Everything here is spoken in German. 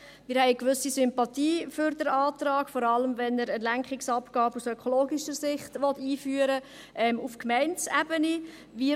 Wir haben eine gewisse Sympathie für den Antrag, vor allem, weil er eine Lenkungsabgabe aus ökologischer Sicht auf Gemeindeebene einführen will.